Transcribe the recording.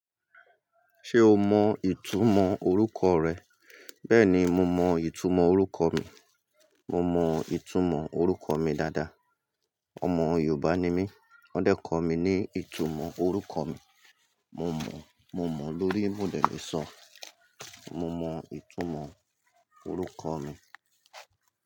Ṣé o mọ ìtumọ̀ orúkọ rẹ? Bẹ́ẹ̀ni, mo mọ ìtumọ̀ orúkọ mi. Mo mọ ìtumọ̀ orúkọ mi dáadáa. Ọmọ Yorùbá ni mí, wọ́n dẹ́ko mi ní ìtumọ̀ orúkọ mi. Mo mọ, mo mọ, lórí mò de le sọ. Mo mọ ìtumọ̀ orúkọ mi.